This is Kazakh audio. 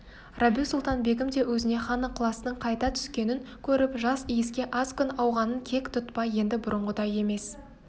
рабиу-сұлтан-бегім де өзіне хан ықыласының қайта түскенін көріп жас иіске аз күн ауғанын кек тұтпай енді бұрынғыдай емес